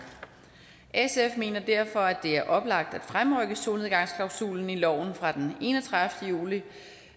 sf mener derfor at det er oplagt at fremrykke solnedgangsklausulen i loven fra den enogtredivete juli